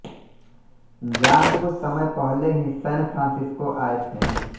John कुछ समय पहले ही सैन फ्रांसिस्को आए थे